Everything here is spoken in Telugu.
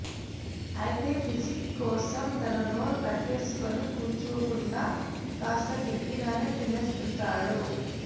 అయితే ఫిజిక్ కోసం తన నోరు కట్టేసుకొని కూర్చోకుండా కాస్త గట్టిగానే తినేస్తుంటాడు